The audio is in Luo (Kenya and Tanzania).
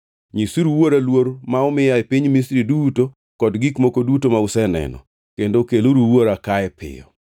Nyisuru wuora luor ma omiya e piny Misri duto kod gik moko duto ma useneno. Kendo keluru wuora kae piyo.”